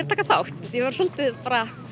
að taka þátt ég verð svolítið bara